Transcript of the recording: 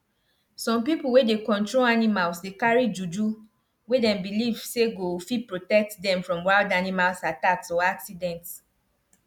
some people wey dey control animals dey carry juju wey dem believe say go fit protect them from wild animal attacks or accidents